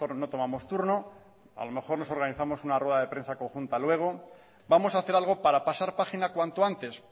no tomamos turno o a lo mejor nos organizamos una rueda de prensa conjunta luego vamos a hacer algo para pasar página cuanto antes